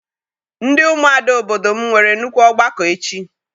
Ndị ụmụada obodo m nwere nnukwu ọgbakọ echi.